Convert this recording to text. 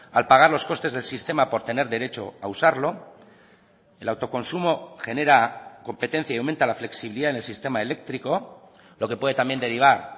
al pagar los costes del sistema por tener derecho a usarlo el autoconsumo genera competencia y aumenta la flexibilidad en el sistema eléctrico lo que puede también derivar